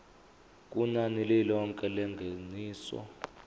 kunani lilonke lengeniso